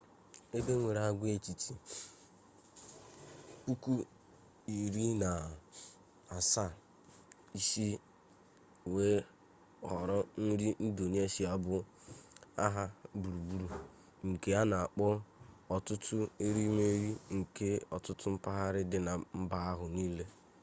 ebe enwere agwaetiti 17,000 isi wee họrọ nri indonesia bụ aha gburugburu nke a na-akpọ ọtụtụ erimeri nke ọtụtụ mpaghara dị na mba ahụ niile